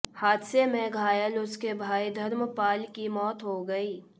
हादसे में घायल उसके भाई धर्मपाल की मौत हो गई